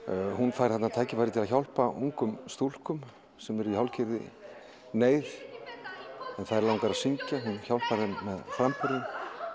hún fær tækifæri til að hjálpa ungum stúlkum sem eru í hálfgerðri neyð þær langar að syngja og hún hjálpar þeim með framburðinn